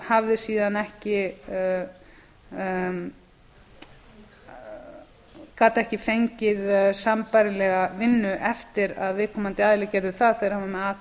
hafði síðan ekki gat ekki fengið sambærilega vinnu eftir að viðkomandi aðili gerði það þegar hann var með